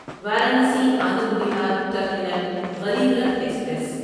Varanasi Anand Vihar terminal Garib Rath express